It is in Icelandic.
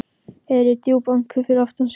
Heyrir djúp andköf fyrir aftan sig.